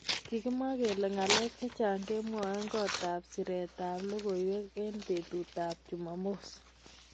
kikimwa kele ngalek chechang kemwoei kot ab siret ab lokoiywek eng betut ab jumamos.